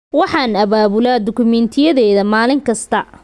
Waxaan abaabulaa dukumentiyadayda maalin kasta.